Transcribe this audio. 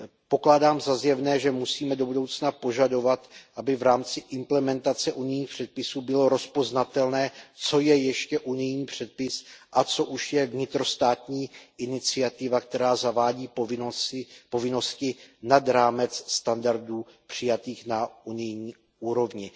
Pokládám za zjevné, že musíme do budoucna požadovat, aby v rámci implementace unijních předpisů bylo rozpoznatelné, co je ještě unijní předpis a co už je vnitrostátní iniciativa, která zavádí povinnosti nad rámec standardů přijatých na unijní úrovni.